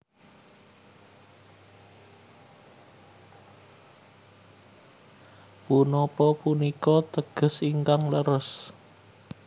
Punapa punika teges ingkang leres